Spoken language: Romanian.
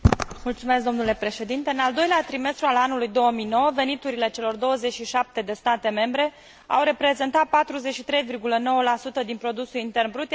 În al doilea trimestru al anului 2009, veniturile celor 27 de state membre au reprezentat 43,9 din produsul intern brut, iar cheltuielile lor